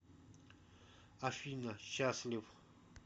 афина счастлив